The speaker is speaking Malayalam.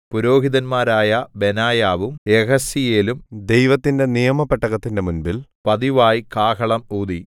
പുരോഹിതന്മാരായ ബെനായാവും യെഹസീയേലും ദൈവത്തിന്റെ നിയമപെട്ടകത്തിന്റെ മുമ്പിൽ പതിവായി കാഹളം ഊതി